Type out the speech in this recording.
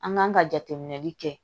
An kan ka jateminɛli kɛ